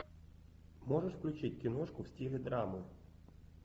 можешь включить киношку в стиле драмы